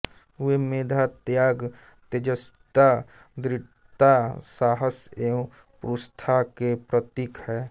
वे मेधा त्याग तेजस्विता दृढता साहस एवं पुरुषार्थ के प्रतीक हैं